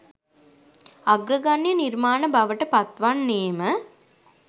අග්‍රගණ්‍ය නිර්මාණ බවට පත්වන්නේම